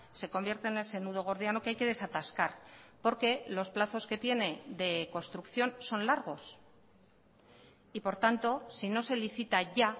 se convierte en ese nudo gordiano que hay que desatascar porque los plazos que tiene de construcción son largos y por tanto si no se licita ya